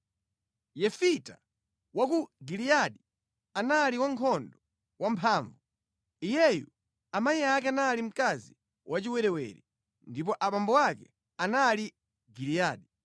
Yefita wa ku Giliyadi anali wankhondo wa mphamvu. Iyeyu amayi ake anali mkazi wachiwerewere, ndipo abambo ake anali Giliyadi.